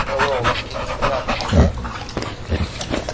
мэллоу у нас какие-то неприятности да